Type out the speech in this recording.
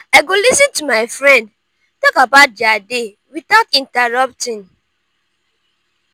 i go lis ten to my friend talk about dia day without interrupting.